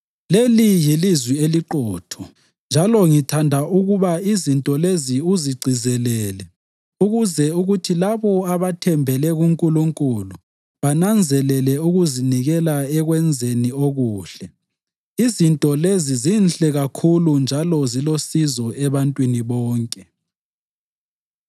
Leli yilizwi eliqotho. Njalo ngithanda ukuba izinto lezi uzigcizelele ukuze kuthi labo abathembele kuNkulunkulu bananzelele ukuzinikela ekwenzeni okuhle. Izinto lezi zinhle kakhulu njalo zilosizo ebantwini bonke.